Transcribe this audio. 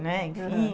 Né, Enfim... Aham.